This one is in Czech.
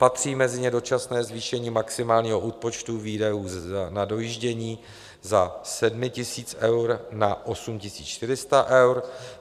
Patří mezi ně dočasné zvýšení maximálního výpočtu výdajů na dojíždění ze 7 000 eur na 8 400 eur.